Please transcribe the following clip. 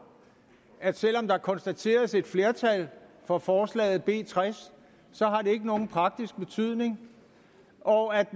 at selv om der konstateres et flertal for forslaget b tres har det ikke nogen praktisk betydning og at